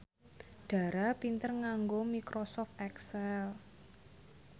Dara pinter nganggo microsoft excel